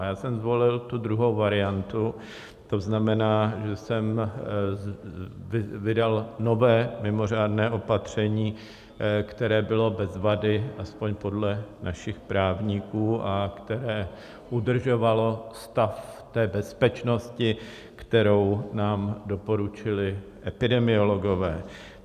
A já jsem zvolil tu druhou variantu, to znamená, že jsem vydal nové mimořádné opatření, které bylo bez vady, aspoň podle našich právníků, a které udržovalo stav té bezpečnosti, kterou nám doporučili epidemiologové.